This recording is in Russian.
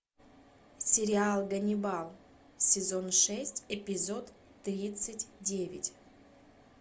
сериал ганнибал сезон шесть эпизод тридцать девять